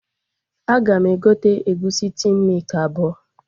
Aga m egote egusi tin mịkị abụọ